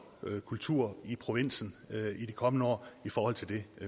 kultur i provinsen i de kommende år i forhold til det